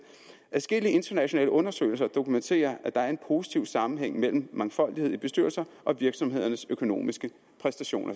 adskillige internationale undersøgelser dokumenterer at der er en positiv sammenhæng mellem mangfoldighed i bestyrelser og virksomhedernes økonomiske præstationer